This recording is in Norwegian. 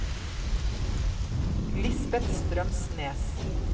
Lisbet Strømsnes